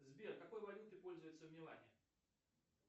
сбер какой валютой пользуются в милане